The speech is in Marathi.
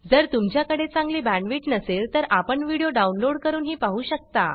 जर तुमच्याकडे चांगली बॅंडविड्त नसेल तर आपण व्हिडीओ डाउनलोड करूनही पाहू शकता